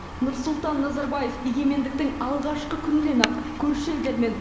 нұрсұлтан назарбаев егемендіктің алғашқы күнінен ақ көрші елдермен